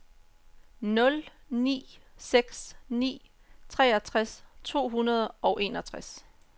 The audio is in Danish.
nul ni seks ni treogtres to hundrede og enogtres